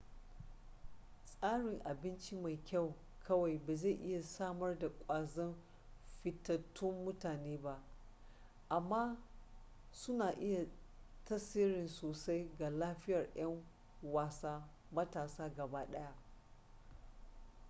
tsarin abinci mai kyau kawai ba zai iya samar da ƙwazon fitattun mutane ba amma suna iya tasiri sosai ga lafiyar 'yan wasa matasa gaba daya